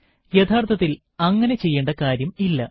യഥാർത്ഥത്തിൽ അങ്ങനെ ചെയ്യേണ്ട കാര്യം ഇല്ല